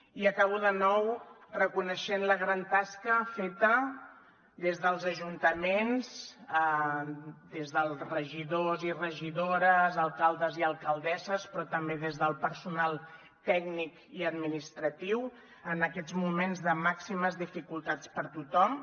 i acabo de nou reconeixent la gran tasca feta des dels ajuntaments des dels regidors i regidores alcaldes i alcaldesses però també des del personal tècnic i administratiu en aquests moments de màximes dificultats per a tothom